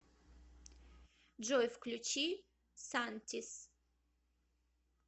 джой включи сантиз